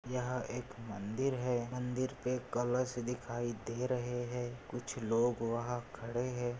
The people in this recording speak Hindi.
यहाँ एक मंदिर है मंदिर पे कलश दिखाई दे रहे है कुछ लोग वहा खड़े है।